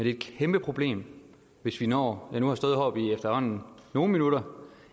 er et kæmpe problem hvis vi når jeg nu har stået heroppe i efterhånden nogle minutter